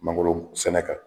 Mangoro sɛnɛ kan